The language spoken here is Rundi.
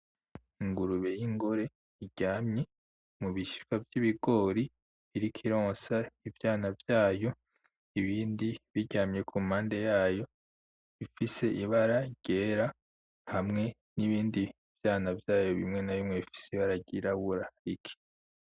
Ingurube y'ingore iryamye mu bishishwa vy'ibigori iriko ironsa ivyana vyayo, ibindi biryamye ku mpande yayo bifise ibara ryera, hamwe n'ibindi vyana vyayo bimwe na bimwe bifise ibara ry'irabura rike.